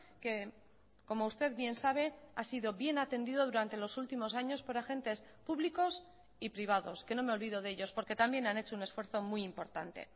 que como usted bien sabe ha sido bien atendido durante los últimos años por agentes públicos y privados que no me olvido de ellos porque también han hecho un esfuerzo muy importante